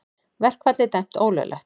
Verkfallið dæmt ólöglegt